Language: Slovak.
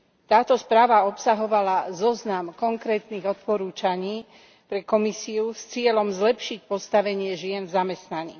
Táto správa obsahovala zoznam konkrétnych odporúčaní pre Komisiu s cieľom zlepšiť postavenie žien v zamestnaní.